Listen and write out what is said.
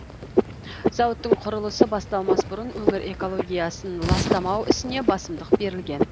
зауыттың құрылысы басталмас бұрын өңір экологиясын ластамау ісіне басымдық берілген